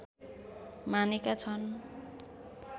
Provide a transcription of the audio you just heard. मानेका छन्